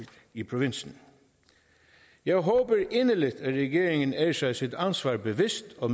i provinsen jeg håber inderligt at regeringen er sig sit ansvar bevidst og